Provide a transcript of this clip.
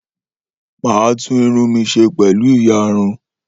Mà á tún irun mi ṣe pẹ̀lú ìyarun.